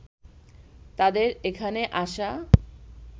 তাদের এখানে আসা